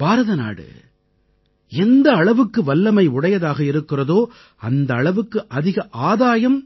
பாரதநாடு எந்த அளவுக்கு வல்லமை உடையதாக இருக்கிறதோ அந்த அளவுக்கு அதிக ஆதாயம்